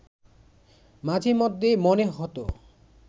মাঝেমধ্যে মনে হতো